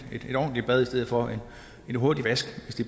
ordentligt bad i stedet for en hurtig vask